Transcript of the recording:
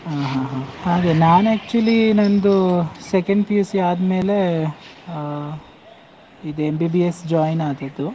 ಹ ಹ ಹ, ಹಾಗೆ ನಾನ್ actually ನಂದು second PUC ಆದ್ಮೇಲೆ ಅಹ್ ಇದ್ MBBS join ಆದದ್ದು.